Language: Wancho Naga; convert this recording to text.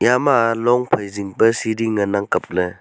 ema long phai zing pe sidi ngan ang kapley.